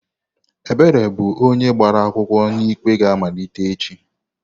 Ebere bụ onye gbara akwụkwọ na ikpe ga-amalite echi.